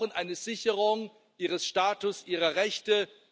Wir brauchen eine Sicherung ihres Status, ihrer Rechte.